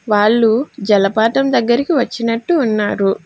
వాళ్లు జలపాతం దగ్గరికి వచ్చినట్టు ఉన్నారు.